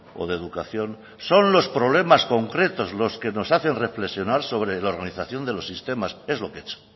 o de educación son los problemas concretos los que nos hacen reflexionar sobre la organización de los sistemas es lo que he hecho